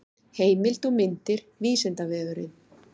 heimild og myndir vísindavefurinn